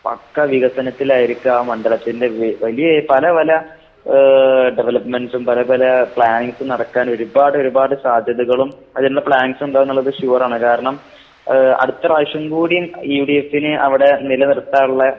പക്കാ വികസനത്തിലായിരിക്കാ മണ്ഡലത്തിന്റെ വ് വലിയ പല പല ഏഹ് ഡെവലപ്മെന്റ്സും പല പല പ്ലാന്നിംഗ്‌സും നടക്കാനൊരുപാടൊരുപാട് സാധ്യതകളും അതിനിള്ള പ്ലാൻസും ഇണ്ടാവൂന്ന്ള്ളത് ഷുവറാണ്. കാരണം ആഹ് അടുത്ത പ്രാവശ്യം കൂടീം യുഡിഎഫിന് അവടെ നിലനിർത്താള്ള